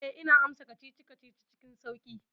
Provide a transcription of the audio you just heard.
Eh, ina amsa kacici-kacici cikin sauƙi.